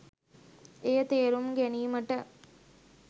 එය තේරුම් ගැනීමට